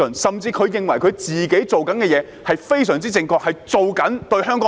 甚至他們認為自己做的事是非常正確，是為了香港好。